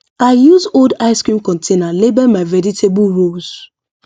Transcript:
i use old ice cream container label my vegetable rows